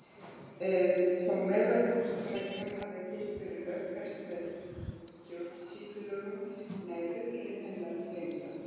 Þó meðalhófsreglan hafi fyrst verið lögfest með stjórnsýslulögunum nær uppruni hennar lengra.